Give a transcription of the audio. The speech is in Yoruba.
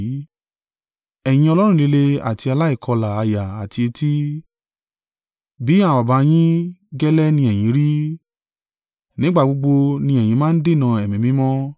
“Ẹ̀yin ọlọ́rùn líle àti aláìkọlà àyà àti etí! Bí àwọn baba yín gẹ́lẹ́ ni ẹ̀yin rí. Nígbà gbogbo ni ẹ̀yin máa ń dènà Ẹ̀mí Mímọ́!